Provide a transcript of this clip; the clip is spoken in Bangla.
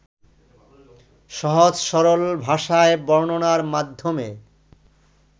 সহজ-সরল ভাষায় বর্ণনার মাধ্যমে